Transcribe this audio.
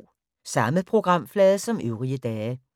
Samme programflade som øvrige dage